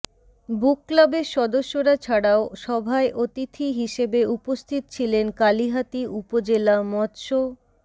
বুক ক্লাবের সদস্যরা ছাড়াও সভায় অতিথি হিসেবে উপস্থিত ছিলেন কালিহাতী উপজেলা মত্স্য